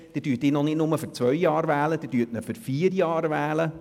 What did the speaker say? Sie werden ihn nicht nur für zwei, sondern für vier Jahre wählen.